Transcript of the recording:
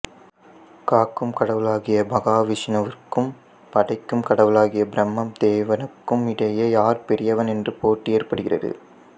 காக்கும் கடவுளாகிய மகாவிஷ்ணுவிற்கும் படைக்கும் கடவுளாகிய பிரம்மதேவனுக்குமிடையே யார் பெரியவன் என்ற போட்டி ஏற்படுகிறது